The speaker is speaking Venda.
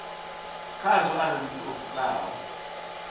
khazwo arali muthu o pfukaho